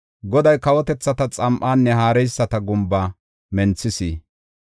Goday kawotethata xam7aanne haareyisata gumba menthis.